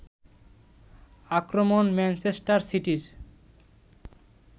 আক্রমণ ম্যানচেস্টার সিটির